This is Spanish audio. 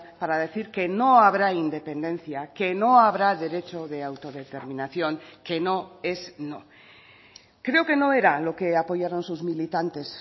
para decir que no habrá independencia que no habrá derecho de autodeterminación que no es no creo que no era lo que apoyaron sus militantes